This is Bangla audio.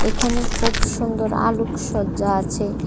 এখানে খুব সুন্দর আলোকসজ্জা আছে।